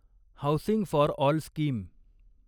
housing for all scheme